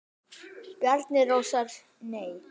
Bjarni Rósar Nei.